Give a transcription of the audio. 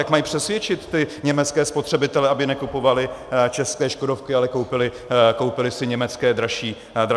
Jak mají přesvědčit ty německé spotřebitele, aby nekupovali české škodovky, ale koupili si německé dražší Audi?